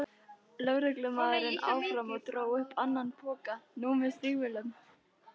lögreglumaðurinn áfram og dró upp annan poka, nú með stígvélum.